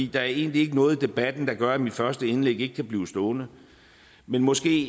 der er egentlig ikke noget i debatten der gør at mit første indlæg ikke kan blive stående men måske